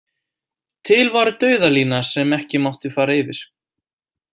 Til var dauðalína sem ekki mátti fara yfir.